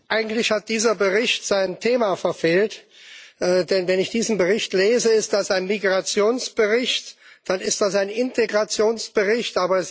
Eigentlich hat dieser Bericht sein Thema verfehlt, denn wenn ich diesen Bericht lese, ist das ein Migrationsbericht, dann ist das ein Integrationsbericht.